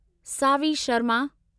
Saavi Sharma